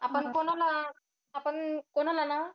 आपण कोणाला~ आपण कोणाला ना